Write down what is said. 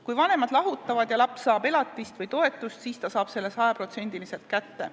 Kui vanemad lahutavad ja laps saab elatist või toetust, siis ta saab selle sajaprotsendiliselt kätte.